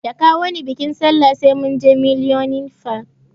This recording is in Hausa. Da kawoni biƙin sallah sai munje millennium park